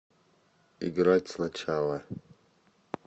играть сначала